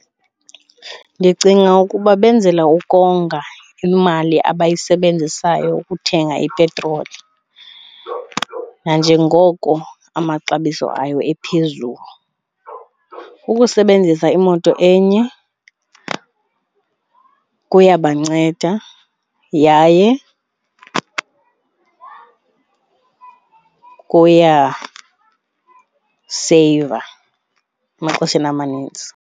Ndicinga ukuba benzela ukonga imali abayisebenzisayo ukuthenga ipetroli nanjengoko amaxabiso ayo ephezulu. Ukusebenzisa imoto enye kuyabanceda yaye kuyaseyiva emaxesheni amaninzi.